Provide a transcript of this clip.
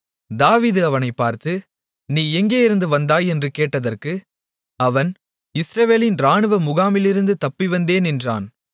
தாவீது அவனைப் பார்த்து நீ எங்கேயிருந்து வந்தாய் என்று கேட்டதற்கு அவன் இஸ்ரவேலின் இராணுவ முகாமிலிருந்து தப்பிவந்தேன் என்றான்